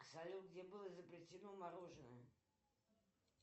салют где было изобретено мороженое